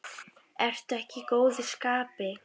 Ertu ekki í góðu skapi?